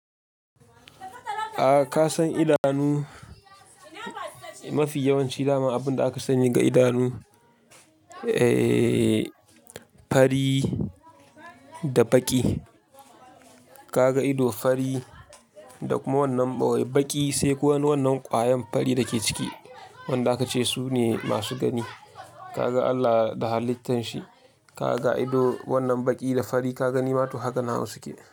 A ka san idanu mafi yawanci daman abunda aka sani ga idanu, eh fari da baƙi. Kaga ido fari da kuma wannan ɓoye baƙi sai ko wannan kwayan fari dake ciki, wanda aka ce sune masu gani. Kaga Allah da halittan shi, kaga ido wannan baƙi da fari, ka ga nimatu haka nawu suke.